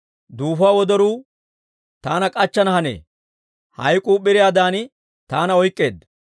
Duufuwaa wodoruu taana k'achchana hanee; hayk'k'uu p'iriyaadan taana oyk'k'eedda.